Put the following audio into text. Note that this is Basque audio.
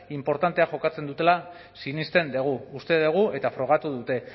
inportantea jokatzen dutela sinesten dugu uste dugu eta frogatu dute